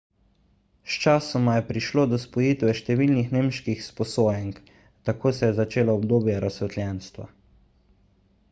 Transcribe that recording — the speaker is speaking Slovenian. sčasoma je prišlo do spojitve številnih nemških sposojenk tako se je začelo obdobje razsvetljenstva